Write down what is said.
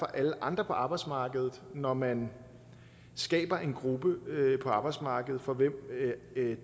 alle andre på arbejdsmarkedet når man skaber en gruppe på arbejdsmarkedet for hvem